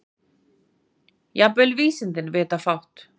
Jafnvel vísindin vita fátt.